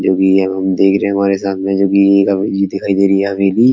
जोकि यह हम देख रहे हैं हमारे सामने में दिखाई दे रही है अभी भी।